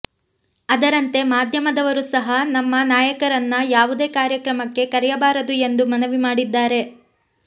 ಅದರಂತೆ ಮಾಧ್ಯಮದವರು ಸಹ ನಮ್ಮ ನಾಯಕರನ್ನ ಯಾವುದೇ ಕಾರ್ಯಕ್ರಮಕ್ಕೆ ಕರೆಯಬಾರದು ಎಂದು ಮನವಿ ಮಾಡಿದ್ದಾರೆ